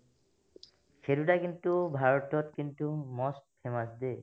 সেই দুটা কিন্তু ভাৰতত কিন্তু most famous দে